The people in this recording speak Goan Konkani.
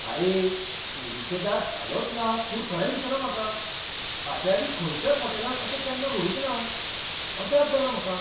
आरे, कुडीचें दार हालचना म्हूण खरें दिसना म्हाका! हाचे आदीं खंयच्याच होटॅलांत अशें केन्ना घडूंक ना. अजाप जालां म्हाका !